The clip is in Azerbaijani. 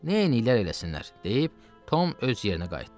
Neynirlər eləsinlər, deyib Tom öz yerinə qayıtdı.